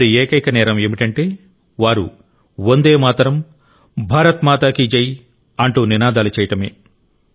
వారి ఏకైక నేరం ఏమిటంటే వారు వందే మాతరం భారత్ మా కి జై అంటూ నినాదాలు చేయడమే